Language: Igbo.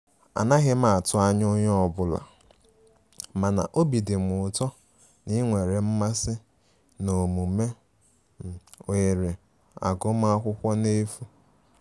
Anaghim atu anya onye ọbụla, mana obi dim ụtọ na inwere mmasi na-omume ohere agụ ma akwụkwo n'efu.